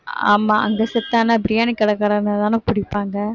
ஆமா அங்க செத்தான்னா பிரியாணி கடைக்காரன்னாதான புடிப்பாங்க